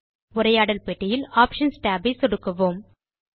உரையாடல் பெட்டியில் options tab ஐ சொடுக்குவோம்